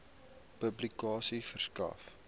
publikasie verskaf